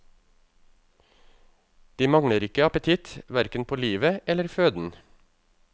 De mangler ikke appetitt, hverken på livet eller føden.